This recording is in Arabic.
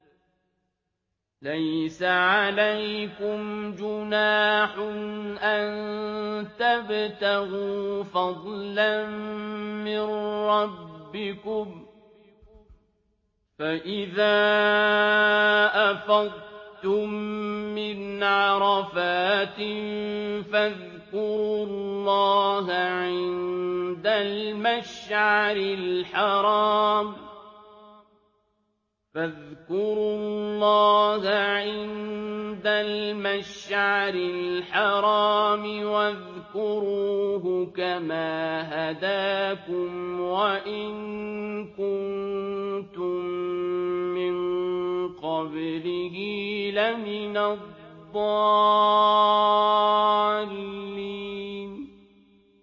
لَيْسَ عَلَيْكُمْ جُنَاحٌ أَن تَبْتَغُوا فَضْلًا مِّن رَّبِّكُمْ ۚ فَإِذَا أَفَضْتُم مِّنْ عَرَفَاتٍ فَاذْكُرُوا اللَّهَ عِندَ الْمَشْعَرِ الْحَرَامِ ۖ وَاذْكُرُوهُ كَمَا هَدَاكُمْ وَإِن كُنتُم مِّن قَبْلِهِ لَمِنَ الضَّالِّينَ